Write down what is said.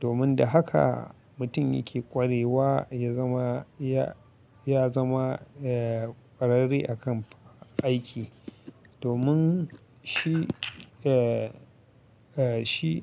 Domin da haka mutum yake kwarewa ya zama, ya zama ƙwararre a kan aiki. Domin shi, eh, shi.